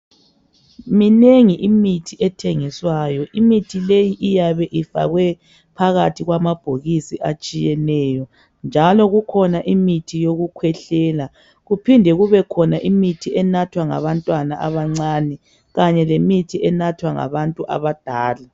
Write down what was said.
Minengi imithi ethengiswayo imithi leyi iyabe ifakwe phakathi kwama bhokisi atshiyeneyo, njalo kukhona imithi yokukwehlela kuphinde kubekhona imithi enathwa ngabantwana abancane kanye lemithi enathwa ngabantu abadala.